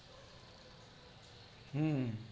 હમ્મ